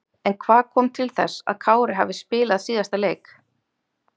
En hvað kom til þess að Kári hafi spilað síðasta leik?